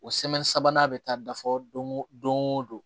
O sabanan bɛ taa da fɔ don o don